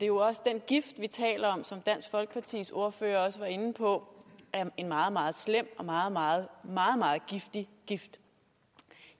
jo også den gift vi taler om og som dansk folkepartis ordfører også var inde på er en meget meget slem og meget meget giftig gift